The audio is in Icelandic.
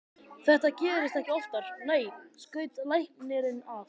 Þetta gerist ekki oftar, nei, skaut læknirinn að.